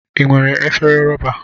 I nwere efere rọba.